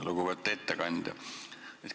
Lugupeetud ettekandja!